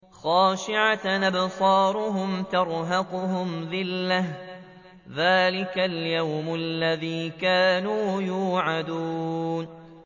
خَاشِعَةً أَبْصَارُهُمْ تَرْهَقُهُمْ ذِلَّةٌ ۚ ذَٰلِكَ الْيَوْمُ الَّذِي كَانُوا يُوعَدُونَ